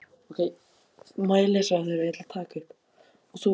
En þeir félagarnir létu ekki svíkja sig svona.